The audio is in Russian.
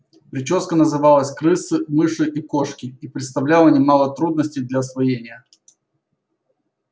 причёска называлась крысы мыши и кошки и представляла немало трудностей для освоения